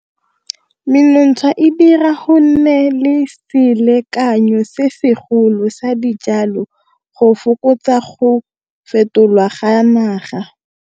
Menontsha e dira go nne le selekanyo se segolo sa dijalo go fokotsa go fetolwa ga naga.